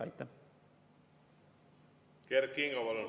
Kert Kingo, palun!